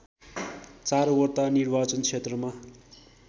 ४वटा निर्वाचन क्षेत्रमा